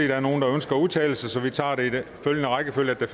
der er nogle der ønsker at udtale sig så vi tager det i den rækkefølge at